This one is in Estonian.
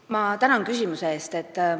Ma tänan küsimuse eest!